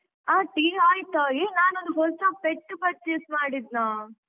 ಹ Tea ಆಯ್ತ್ ಈಗ ನಾನೊಂದು ಹೊಸ pet purchase ಮಾಡಿದ್ನ.